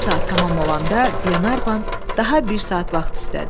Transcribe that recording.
Bir saat tamam olanda Glenarvan daha bir saat vaxt istədi.